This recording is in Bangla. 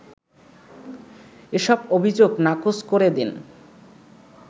এসব অভিযোগ নাকচ করে দেন